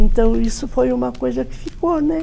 Então, isso foi uma coisa que ficou, né?